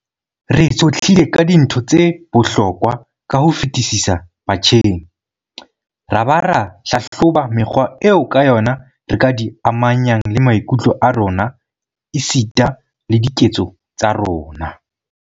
Re tshohlile ka dintho tse bohlokwa ka ho fetisisa batjheng ra ba ra hlahloba mekgwa eo ka yona re ka di amanyang le maikutlo a rona esita le diketso tsa rona.